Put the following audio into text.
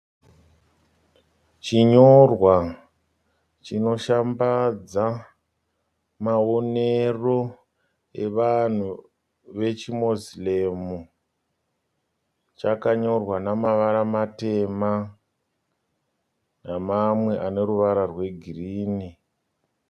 Chinyorwa chinoshamba maonero evanhu vechiMoslem chakanyorwa nemavara matema nemamwe ane ruvara rwegirinhi.